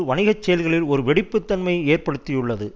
வணிக செயல்களில் ஒரு வெடிப்பு தன்மையை ஏற்படுத்தியுள்ளது